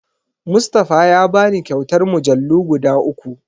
Mustafa ya bani kyautar mujallu guda uku.